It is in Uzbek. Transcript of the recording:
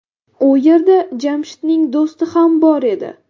U yerda Jamshidning do‘sti ham bor edi.